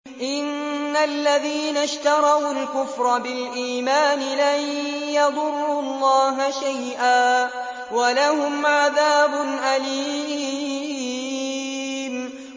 إِنَّ الَّذِينَ اشْتَرَوُا الْكُفْرَ بِالْإِيمَانِ لَن يَضُرُّوا اللَّهَ شَيْئًا وَلَهُمْ عَذَابٌ أَلِيمٌ